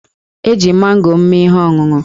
E ji mango m mee ihe ọṅụṅụ.